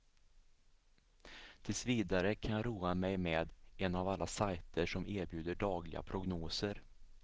Tills vidare kan jag roa mig med en av alla sajter som erbjuder dagliga prognoser.